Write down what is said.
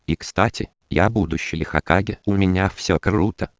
и кстати я будущий хокаге у меня все ок ру